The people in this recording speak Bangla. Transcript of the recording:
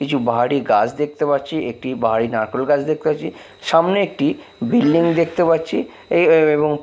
কিছু বাহারি গাছ দেখতে পাচ্ছি একটি বাহারি নারকোল গাছ দেখতে পাচ্ছি সামনে একটি বিল্ডিং দেখতে পাচ্ছি এই এই এবং --